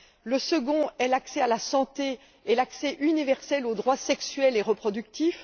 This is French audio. le second est l'accès à la santé et l'accès universel aux droits sexuels et reproductifs